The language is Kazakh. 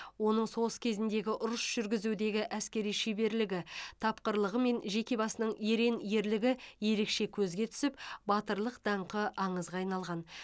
оның соғыс кезіндегі ұрыс жүргізудегі әскери шеберлігі тапқырлығы мен жеке басының ерен ерлігі ерекше көзге түсіп батырлық даңқы аңызға айналған